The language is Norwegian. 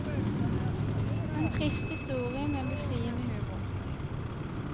En trist historie med befriende humor.